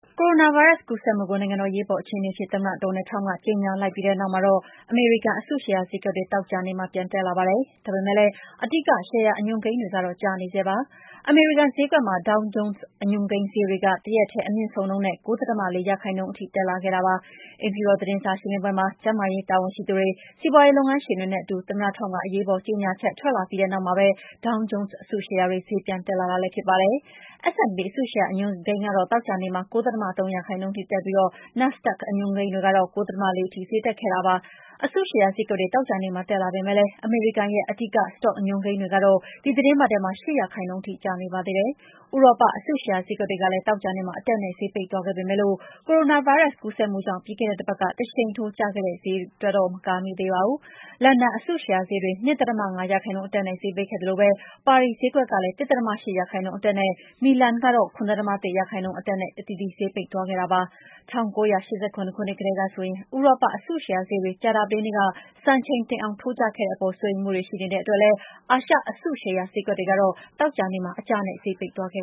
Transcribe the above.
ကိုရိုနာဗိုင်းရပ်စ် ကူးစက်မှုကို နိုင်ငံတော် အရေးပေါ်အခြေအနေအဖြစ် သမ္မတ Donald Trump က ကြေညာလိုက်ပြီးနောက် အမေရိကန် အစုရှယ်ယာဈေးကွက်တွေ သောကြာနေ့မှာ ပြန်တက်လာပါတယ်။ ဒါပေမယ့်လည်း အဓိက ရှယ်ယာအညွှန်းကိန်းတွေကတော့ ကျနေဆဲပါ။ အမေရိကန်ဈေးကွက်မှာ Dow Jones အညွှန်းကိန်းဈေးတွေ တရက်တည်း အများဆုံးနှုန်းနဲ့ ၉.၄ ရာခိုင်နှုန်းထိ တက်လာခဲ့တာပါ။ အိမ်ဖြူတော် သတင်းစာရှင်းလင်းပွဲမှာ ကျန်းမာရေးတာဝန်ရှိသူတွေ၊ စီးပွားရေး လုပ်ငန်းရှင်တွေနဲ့အတူ သမ္မတ Trump က အရေးပေါ် ကြေညာချက် ထွက်လာပြီးတဲ့နောက်မှာပဲ Dow Jones အစုရှယ်ယာတွေ ဈေးပြန်လာတာလည်း ဖြစ်ပါတယ်။ S&P 500 အစုရှယ်ယာဈေးတွေ သောကြာနေ့မှာ ၉.၃ ရာခိုင်နှုန်းတက်ပြီး Nasdaq Composite အညွှန်းကိန်းတွေကတော့ ၉.၄ ရာခိုင်နှုန်းထိ ဈေးတက်လာခဲ့တာပါ။ အစုရှယ်ယာဈေးကွက်တွေ သောကြာနေ့မှာ တက်လာပေမယ့်လည်း အမေရိကန် အဓိက စတော့အညွှန်းကိန်းတွေကတော့ ဒီသီတင်းပတ်ထဲ ၈ ရာခိုင်နှုန်းထိ ကျနေပါသေးတယ်။ ဥရောပ အစုရှယ်ယာဈေးကွက်တွေလည်း သောကြာနေ့မှာ အတက်နဲ့ ဈေးပိတ်သွားခဲ့ပေမယ့် ကိုရိုနာဗိုင်းရပ်စ် ကူးစက်မှုကြောင့် ပြီးခဲ့တဲ့တပတ်က တရှိန်ထိုး ဈေးကျခဲ့တာကိုတေ့ာ မကာမိသေးပါဘူး။ လန်ဒန်အစုရှယ်ယာဈေးတွေ ၂.၅ ရာခိုင်နှုန်း အတက်နဲ့ ဈေးပိတ်ခဲ့သလို ပါရီဈေးကွက်ကလည်း ၁.၈ ရာခိုင်နှုန်း အတက်နဲ့ မီလန်ကတော့ ၇.၁ ရာခိုင်နှုန်း အတက်နဲ့ ဈေးပိတ်သွားခဲ့ပါတယ်။ ၁၉၈၇ ခုနှစ်တည်းကဆိုရင် ဥရောပ အစုရှယ်ယာဈေးတွေ ကြာသပတေးနေ့က စံချိန်တင်အောင် ထိုးကျခဲ့တဲ့အပေါ် စိုးရိမ်တဲ့အတွက် အာရှ အစုရှယ်ယာဈေးကွက်တွေကတော့ သောကြာနေ့မှာ အကျနဲ့ ဈေးပိတ်သွားခဲ့